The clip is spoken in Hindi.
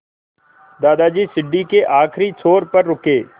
दादाजी सीढ़ी के आखिरी छोर पर रुके